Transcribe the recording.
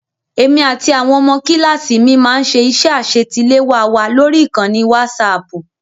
Èmi àti àwọn ọmọ kíláàsì mi máá ń ṣe iṣẹ́ àṣetiléwá wa lórí ìkànnì wásaaàpù